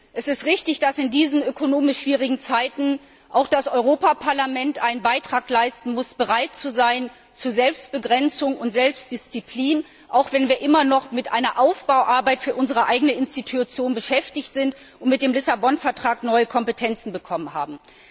Es ist richtig, dass in diesen ökonomisch schwierigen Zeiten auch das Europäische Parlament einen Beitrag leisten und bereit sein muss zu Selbstbegrenzung und Selbstdisziplin, auch wenn wir immer noch mit Aufbauarbeit für unsere eigene Institution beschäftigt sind und mit dem Lissabon Vertrag neue Kompetenzen bekommen haben.